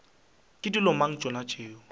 ke dilo mang tšona tšeo